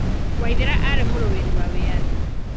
Waithera aarĩ mũrũĩri wa wĩyathi.